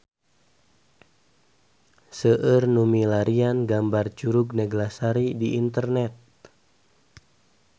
Seueur nu milarian gambar Curug Neglasari di internet